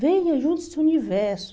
Venha, junte-se ao universo.